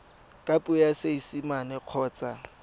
ka puo ya seesimane kgotsa